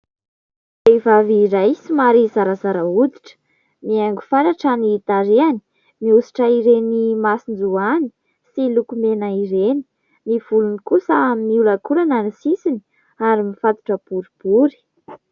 Vehivavy iray somary zarazara hoditra, mihaingo fatratra ny tarehany mihosotra ireny masinjoany sy lokomena ireny, ny volony kosa miolankolana ny sisiny ary mifatotra boribory.